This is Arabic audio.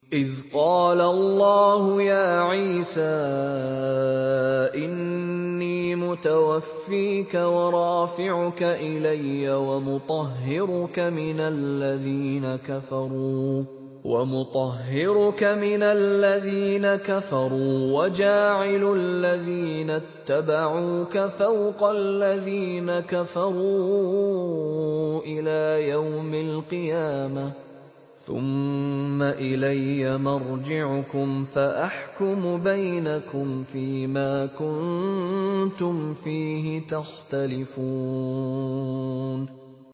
إِذْ قَالَ اللَّهُ يَا عِيسَىٰ إِنِّي مُتَوَفِّيكَ وَرَافِعُكَ إِلَيَّ وَمُطَهِّرُكَ مِنَ الَّذِينَ كَفَرُوا وَجَاعِلُ الَّذِينَ اتَّبَعُوكَ فَوْقَ الَّذِينَ كَفَرُوا إِلَىٰ يَوْمِ الْقِيَامَةِ ۖ ثُمَّ إِلَيَّ مَرْجِعُكُمْ فَأَحْكُمُ بَيْنَكُمْ فِيمَا كُنتُمْ فِيهِ تَخْتَلِفُونَ